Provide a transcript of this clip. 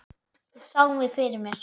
Ég sá mig fyrir mér.